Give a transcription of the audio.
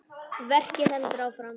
Verkið heldur áfram.